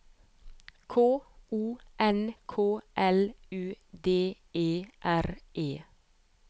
K O N K L U D E R E